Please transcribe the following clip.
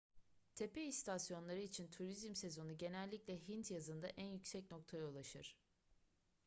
tepe istasyonları için turizm sezonu genellikle hint yazında en yüksek noktaya ulaşır